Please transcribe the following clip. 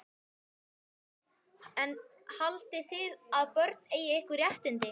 Hafsteinn: En haldið þið að börn eigi einhver réttindi?